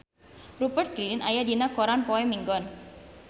Rupert Grin aya dina koran poe Minggon